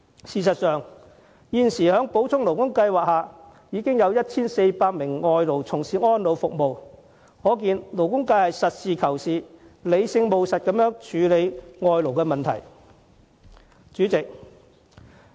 事實上，在補充勞工計劃下，現時已有 1,400 名外勞從事安老服務，可見勞工界是實事求是、理性務實地處理外勞的問題。